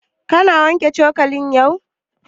Ka wanke cokali yau?